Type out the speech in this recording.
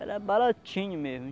Era baratinho mesmo.